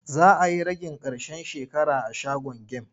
Za a yi ragin ƙarshen shekara a shagon gem.